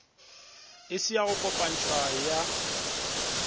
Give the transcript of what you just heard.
e se ya kopantšhwago ya